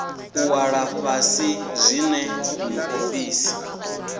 u ṅwala fhasi zwine muofisi